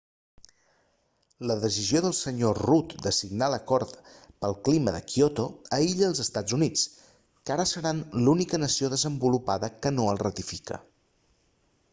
la decisió del sr rudd de signar l'acord pel clima de kyoto aïlla els estats units que ara seran l'única nació desenvolupada que no el ratifica